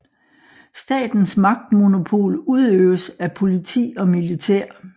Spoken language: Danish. Statens magtmonopol udøves af politi og militær